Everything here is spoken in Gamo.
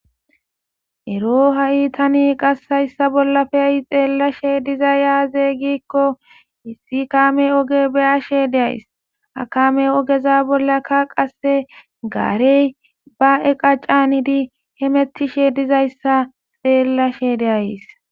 Ero ha'i qase tani hayssa bolla xellashe dizay azee gikko issi kaame ooge beysashe de'ayssii ha kaame oogeza bollakka qase garey ba eeqqa canidii hemetishe dizayssa xellashe de'ayssii